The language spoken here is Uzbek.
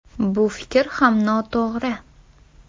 Bu fikr ham noto‘g‘ri.